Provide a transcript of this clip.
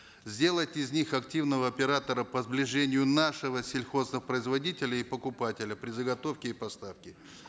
сделать из них активного оператора по сближению нашего сельхозпроизводителя и покупателя при заготовке и поставке